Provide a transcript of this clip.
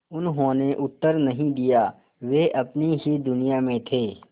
उन्होंने उत्तर नहीं दिया वे अपनी ही दुनिया में थे